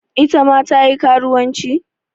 Ita ma ta yi karuwanci?